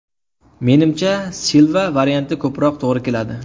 Menimcha, Silva varianti ko‘proq to‘g‘ri keladi.